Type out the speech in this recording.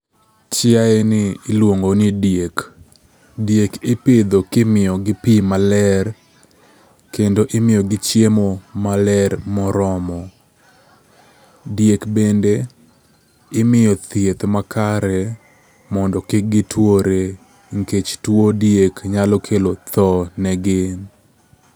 Chiayeni iluongo ni diek. Diek ipidho kimiyogi pi maler kendo imiyogi chiemo maler moromo. Diek bende imiyo thieth makare mondo kik gituore nikech tuo diek nyalo kelo tho negi.